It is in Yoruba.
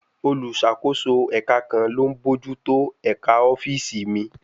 Olùṣàkóso ẹ̀ka kan ló ń bójú tó ẹ̀ka ọ́fíìsì míì